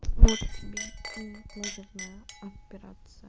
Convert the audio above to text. вот тебе и лазерная операция